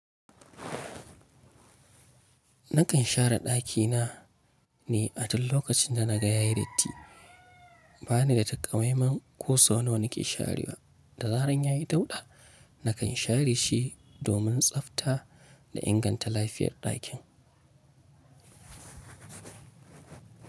Nakan share ɗakina ne a duk lokacin da na gayayi datti. Ba ni da takamaiman kosau nawa na ke sharewa, da zaran ya yi dauɗa, nakan share shi domin tsafta da inganta lafiyar ɗakin.